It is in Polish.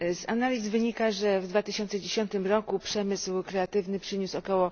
Z analiz wynika, że w 2010 roku przemysł kreatywny przyniósł ok.